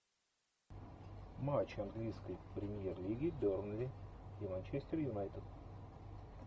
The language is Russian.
матч английской премьер лиги бернли и манчестер юнайтед